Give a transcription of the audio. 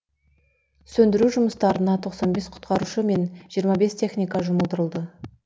сөндіру жұмыстарына тосан бес құтқарушы мен жиырма бес техника жұмылдырылды